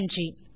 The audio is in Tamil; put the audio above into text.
நன்றி